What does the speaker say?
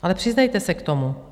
Ale přiznejte se k tomu.